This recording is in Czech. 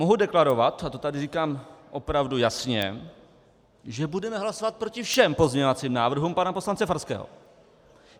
Mohu deklarovat, a to tady říkám opravdu jasně, že budeme hlasovat proti všem pozměňovacím návrhům pana poslance Farského.